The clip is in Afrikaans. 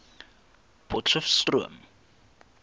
potcheftsroom